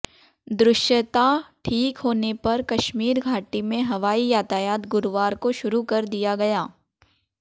दृश्यता ठीक होने पर कश्मीर घाटी में हवाई यातायात गुरुवार को शुरू कर दिया गया